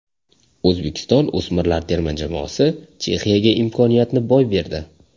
O‘zbekiston o‘smirlar terma jamoasi Chexiyaga imkoniyatni boy berdi.